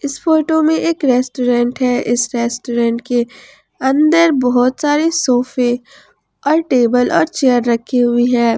इस फोटो में एक रेस्टोरेंट है इस रेस्टोरेंट के अंदर बहुत सारे सोफे और टेबल और चेयर रखी हुई है।